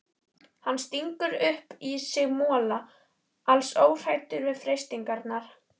Hann stingur upp í sig mola, alls óhræddur við freistingarnar.